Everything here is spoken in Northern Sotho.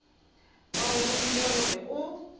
ba go romile gore o